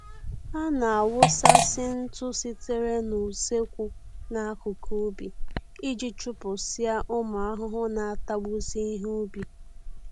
A na-awụsasị ntụ sitere n'usekwu n'akụkụ ubi iji chụpụsịa ụmụ ahụhụ na-atagbusị ihe ubi